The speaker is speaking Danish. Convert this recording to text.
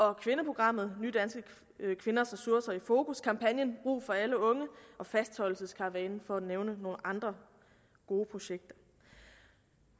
er kvindeprogrammet nydanske kvinders ressourcer i fokus kampagnen brug for alle unge og fastholdelseskaravanen for at nævne nogle andre gode projekter